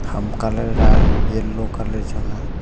ham colour a yellow colour chang a.